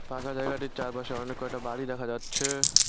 ফাঁকা জায়গাটির চারপাশে অনেককয়টা বাড়ি দেখা যাচ্ছে।